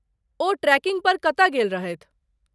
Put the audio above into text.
ओ trekking पर कतय गेल रहथि?